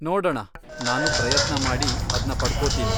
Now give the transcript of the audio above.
ನೋಡಣ, ನಾನು ಪ್ರಯತ್ನ ಮಾಡಿ ಅದ್ನ ಪಡ್ಕೋತೀನಿ.